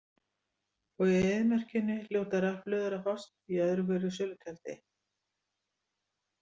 Og í eyðimörkinni hljóta rafhlöður að fást í öðru hverju sölutjaldi.